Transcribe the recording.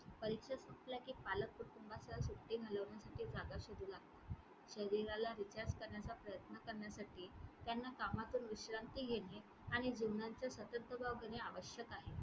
परीक्षा संपल्या कि पालक कुटूंबासह सुट्टी घालवण्यासाठी जागा शोधू लागतात. शरीराला recharge करण्याचा प्रयत्न करण्यासाठी त्यांना कामातून विश्रांती घेणे आणि जीवनाचा आवश्यक आहे.